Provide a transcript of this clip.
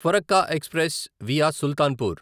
Farakka express via Sultanpur